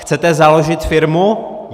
Chcete založit firmu?